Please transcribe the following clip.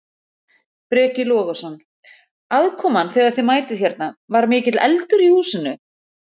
Breki Logason: Aðkoman þegar að þið mætið hérna, var mikill eldur í húsinu?